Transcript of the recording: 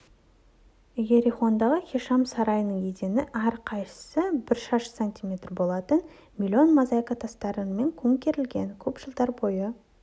иерихондағы хишам сарайының едені әрқайсысы бір шаршы сантиметр болатын миллион мозаика тастарымен көмкерілген көп жылдар бойы